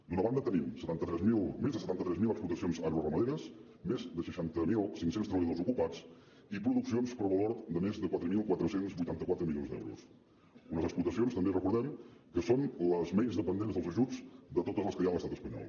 d’una banda tenim més de setanta tres mil explotacions agroramaderes més de seixanta mil cinc cents treballadors ocupats i produccions per valor de més de quatre mil quatre cents i vuitanta quatre milions d’euros unes explotacions també recordemho que són les menys dependents dels ajuts de totes les que hi ha a l’estat espanyol